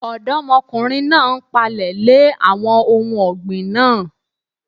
Ọ̀dọ́mọkùnrin náà n pààlẹ̀ lè àwọn ohun ọ̀gbìn náà